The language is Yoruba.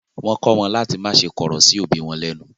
Wọ́n kọ́ wọn láti má ṣe kọ̀rọ̀ sí òbí wọn lẹ́nu.